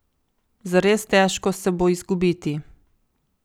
Zares težko se bo izgubiti.